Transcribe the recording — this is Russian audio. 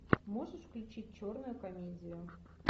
можешь включить черную комедию